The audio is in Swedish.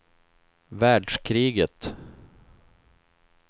världskriget